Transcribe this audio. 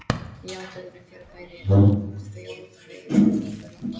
Já, dulræn fyrirbæri á þjóðvegum Norðurlanda.